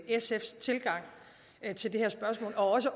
sfs tilgang til det her spørgsmål og også